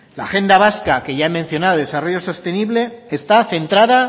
la agenda vasca que ya he mencionado de desarrollo sostenible que está centrada